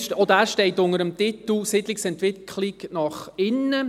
Auch dieser steht unter dem Titel «Siedlungsentwicklung nach innen».